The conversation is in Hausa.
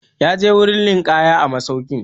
Ya je wurin ninƙaya a masaukin.